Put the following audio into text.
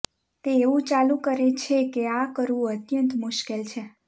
તે એવું ચાલુ કરે છે કે આ કરવું અત્યંત મુશ્કેલ છે